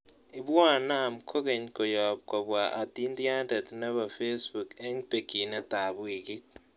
Ibuan naam kokeny koyoob kobwa atiintyaantet ne po facebook eng' bekyinetap wiikiit